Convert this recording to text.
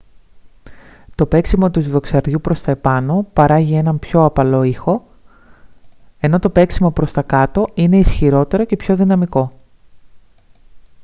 το παίξιμο του δοξαριού προς τα πάνω παράγει έναν πιο απαλό ήχο ενώ το παίξιμο προς τα κάτω είναι ισχυρότερο και πιο δυναμικό